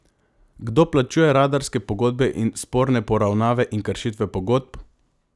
Kdo plačuje radarske pogodbe in sporne poravnave in kršitve pogodb?